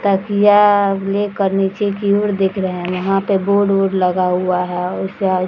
तकिया लेकर नीचे की ओर देख रहे है यहां पर बोर्ड उर्ड लगा हुआ है उससे आगे --